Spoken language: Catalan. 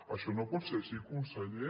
això no pot ser així conseller